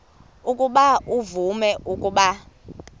ukuba uvume ukuba